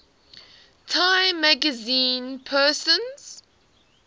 time magazine persons